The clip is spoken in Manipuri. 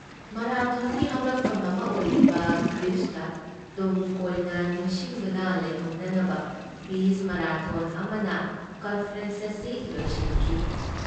ꯃꯔꯥꯊꯣꯟꯒꯤ ꯍꯧꯔꯛꯐꯝ ꯑꯃ ꯑꯣꯏꯔꯤꯕ ꯒ꯭ꯔꯤꯁꯇ ꯇꯨꯡ ꯀꯣꯏꯅ ꯅꯤꯡꯁꯤꯡꯗꯨꯅ ꯂꯩꯍꯧꯅꯅꯕ ꯄꯤꯁ ꯃꯔꯥꯊꯣꯟ ꯑꯃꯅ ꯀꯟꯐꯔꯦꯟꯁ ꯑꯁꯤ ꯂꯣꯏꯁꯤꯟꯈꯤ ꯫